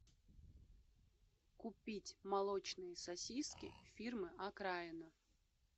купить молочные сосиски фирмы окраина